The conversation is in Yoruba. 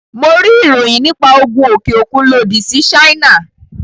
Mo rí ìròyìn nípa Ogun òkè òkun lòdì sí Ṣáínà.